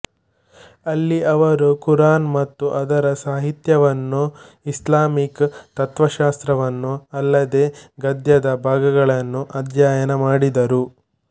ಅಲ್ಲಿ ಅವರು ಕುರಾನ್ ಮತ್ತು ಅದರ ಸಾಹಿತ್ಯವನ್ನು ಇಸ್ಲಾಮಿಕ್ ತತ್ವಶಾಸ್ತ್ರವನ್ನು ಅಲ್ಲದೇ ಗದ್ಯದ ಭಾಗಗಳನ್ನು ಅಧ್ಯಯನ ಮಾಡಿದರು